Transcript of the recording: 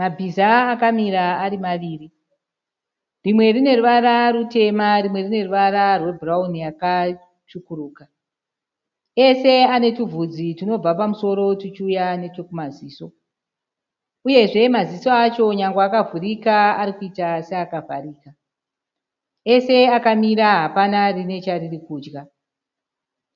Mabhiza akamira ari maviri. Rimwe rine ruvara rutema rimwe rine ruvara rwebhurauni yakatsvukuruka. Ese ane tuvhudzi tunobva pamusoro tuchiuya nechekumaziso. Uyezve maziso acho nyange akavhurika arikuita seakavharika. Ese akamira hapana rine chariri kudya.